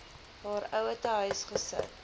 haar ouerhuis gesit